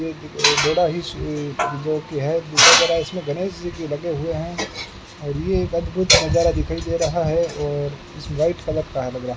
बड़ा ही जोकि है जरा इसमें गणेश जी भी लगे हुए हैं और ये एक अद्भुत नजारा दिखाई दे रहा है और इस वाइट कलर का है लग रहा --